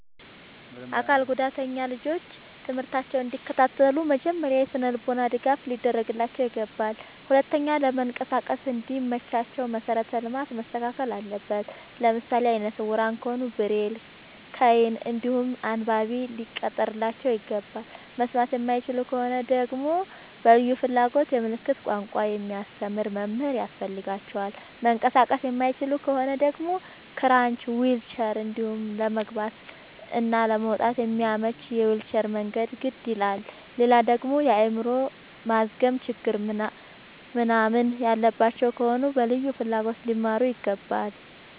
አካል ጉዳተኛ ልጆች ትምህርታቸውን እንዲ ከታተሉ መጀመሪያ የስነልቦና ድገፍ ሊደረግላቸው ይገባል። ሁለተኛ ለመንቀሳቀስ እንዲ መቻቸው መሰረተ ልማት መስተካከል አለበት። ለምሳሌ አይነስውራ ከሆኑ ብሬል ከይን እንዲሁም አንባቢ ሊቀጠርላቸው ይገባል። መስማት የማይችሉ ከሆኑ ደግመሞ በልዩ ፍላጎት የምልክት ቋንቋ የሚያስተምር መምህር ያስፈልጋቸዋል። መንቀሳቀስ የማይችሉ ከሆኑ ደግሞ ክራች ዊልቸር እንዲሁም ለመግባት እና ለመውጣት የሚያመች የዊልቸር መንገድ ግድ ይላላል። ሌላደግሞ የአይምሮ ማዝገም ችግር ምንናምን ያለባቸው ከሆኑ በልዩ ፍላጎት ሊማሩ ይገባል።